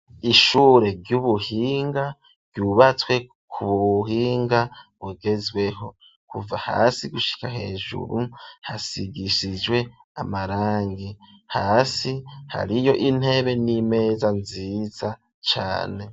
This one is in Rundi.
Ishure ry'ubuhinga, ryubatswe ku buhinga bugezweho, kuva hasi gushika hejuru ,hasigishijwe amarangi ,hasi hariyo intebe n'imeza nziza cane.